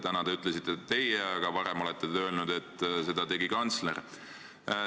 Täna te ütlesite, et teie, aga varem olete öelnud, et seda tegi kantsler.